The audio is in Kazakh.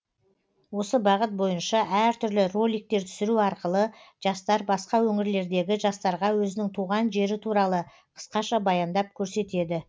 осы бағыт бойынша әр түрлі роликтер түсіру арқылы жастар басқа өңірлердегі жастарға өзінің туған жері туралы қысқаша баяндап көрсетеді